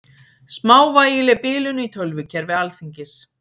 Smávægileg bilun í tölvukerfi Alþingis